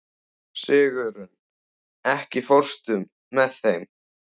Sigurunn, ekki fórstu með þeim?